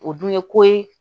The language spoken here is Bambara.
O dun ye ko ye